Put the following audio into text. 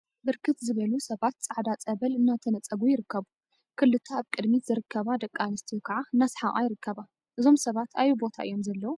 ብርክት ዝበሉ ሰባት ፃዕዳ ፀበል እናተነፀጉ ይርከቡ፡፡ ክልተ አብ ቅድሚት ዝርከባ ደቂ አንስትዮ ከዓ እናሰሓቃ ይርከባ፡፡ እዞም ሰባት አበይ ቦታ እዮም ዘለው?